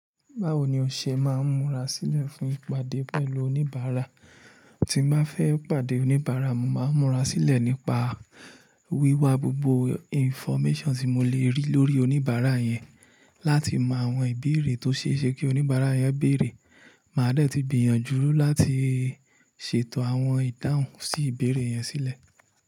Báwo ni o ṣe máa ń múra sílẹ̀ fún ìpàdé pẹ̀lú oníbàárà? Tí m ba fẹ́ pàdé oníbàárà, mo máa ń múra sílẹ̀ nípa wíwa gbogbo information tí mo le rí lórí oníbàárà yẹn, láti mọ àwọn ìbéèrè tó ṣe é ṣe kí oníbàárà yẹn béèrè. Màá dẹ́ẹ̀ tí gbìyànjú láti ṣètò àwọn idahun sí ìbéèrè yẹn sílẹ̀.